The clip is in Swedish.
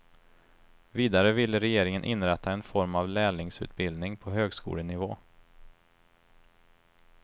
Vidare vill regeringen inrätta en form av lärlingsutbildning på högskolenivå.